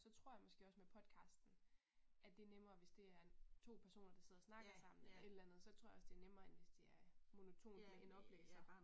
Så tror jeg måske også med podcasten at det nemmere hvis det er en to personer, der sidder og snakker sammen eller et eller andet så tror jeg også det er nemmere end hvis det er monotont med en oplæser